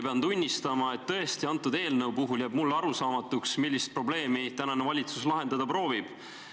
Pean tunnistama, et tõesti, selle eelnõu puhul jääb mulle arusaamatuks, millist probleemi tänane valitsus lahendada proovib.